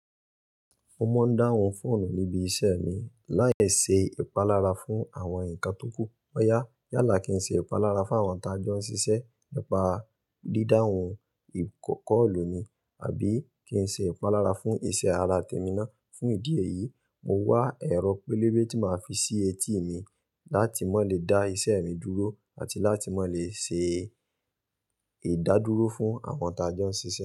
Mo máa ń dáhùn fóònù níbi isẹ mi láì ṣe ìpalára fún àwọn nǹkan tó kù. Ó yá, yálà kí n ṣe ìpalára fún àwọn tájọ́ ń ṣiṣẹ́ nípa dídáhun ìkọ̀kọ̀ olùni àbí kí n ṣe ìpalára fún isẹ ará temí ná. Fún ìdí èyí, mo wá ẹ̀rọ pélébé tí màá fi sí etí mi láti má le dá isẹ mi dúró àti láti má le ṣe ìdádúró fún àwọn tá jọ ń ṣiṣẹ́